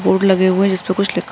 board लगे हुए हैं जिस पर कुछ लिखा --